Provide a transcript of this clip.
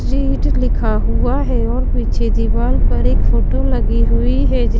read लिखा हुआ है और पीछे दीवाल पर एक फोटो लगी हुई है जि --